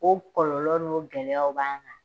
O kɔlɔlɔ n'o gɛlɛyaw b'an kan